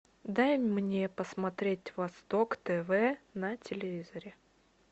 дай мне посмотреть восток тв на телевизоре